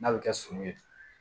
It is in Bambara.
N'a bɛ kɛ sun ye